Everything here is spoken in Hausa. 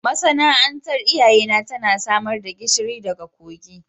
Masana'antar iyayena tana samar da gishiri daga kogin